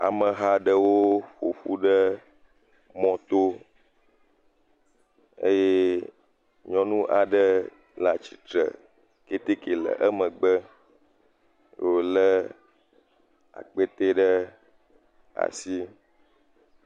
Ameha aɖewo ƒoƒu ɖe mɔto, eye nyɔnu aɖe le atsitre keteke le emegbe wole akpete ɖe asi.